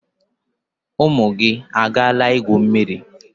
Ụmụ gị agaala igwu mmiri?